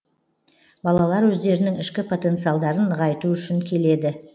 балалар өздерінің ішкі потенциалдарын нығайту үшін келеді